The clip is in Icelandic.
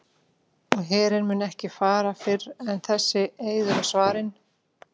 Og herinn mun ekki fara fyrr en þessi eiður er svarinn.